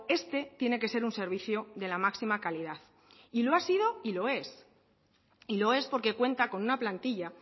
este tiene que ser un servicio de la máxima calidad y lo ha sido y lo es y lo es porque cuenta con una plantilla